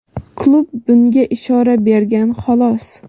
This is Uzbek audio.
Klub bunga ishora bergan, xolos.